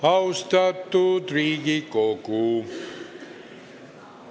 Austatud Riigikogu!